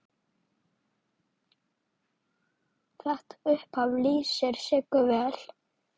Þetta upphaf lýsir Siggu vel.